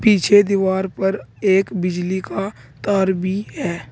पीछे दीवार पर एक बिजली का तार भी है।